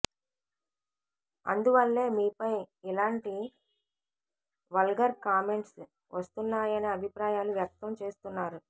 అందువల్లే మీపై ఇలాంటి వల్గర్ కామెంట్స్ వస్తున్నాయనే అభిప్రాయాలు వ్యక్తం చేస్తున్నారు